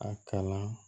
A kala